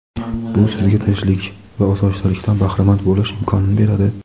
bu sizga tinchlik va osoyishtalikdan bahramand bo‘lish imkonini beradi.